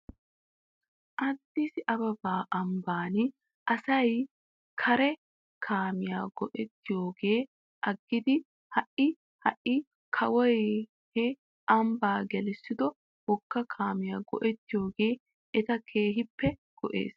Addis ababa ambban asay qeera kaamiyaa go'ettiyoogaa aggidi ha'i ha'i kawoy he ambbaa gelissido wogga kaamiyaa go'ettoyoogee ete keehippe go'es.